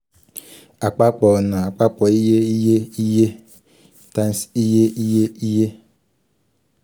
apapọ ọna apapọ iye iye iye um cs] times iye iye iye iye um